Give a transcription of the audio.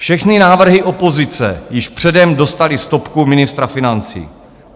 Všechny návrhy opozice již předem dostaly stopku ministra financí.